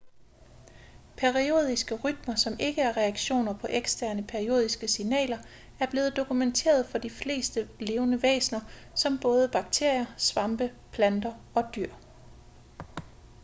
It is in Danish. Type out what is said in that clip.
periodiske rytmer som ikke er reaktioner på eksterne periodiske signaler er blevet dokumenteret for de fleste levende væsener som både bakterier svampe planter og dyr